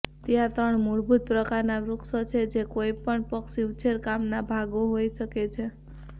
ત્યાં ત્રણ મૂળભૂત પ્રકારનાં વૃક્ષો છે જે કોઈપણ પક્ષી ઉછેરકામના ભાગો હોઈ શકે છે